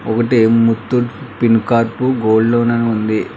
ఒకటి Muthoot Fincorp gold loan ఉంది.